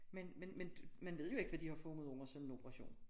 Men men men man ved jo ikke hvad de har fundet under sådan en operation